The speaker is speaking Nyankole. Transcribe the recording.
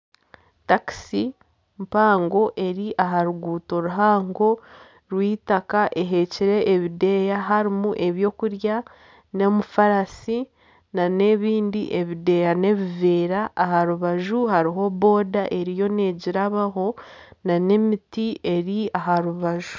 Taxi mpango eri aha ruguuto ruhango rw'itaka ehekire ebideyi harimu ebwokurya n'omufarasi nana ebindi ebideya n'ebiveera aharubaju hariho boda eriyo negirabaho nana emiti eri aha rubaju.